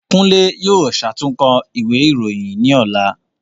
Kunle yóò ṣàtúnkọ ìwé ìròyìn ni ọ̀la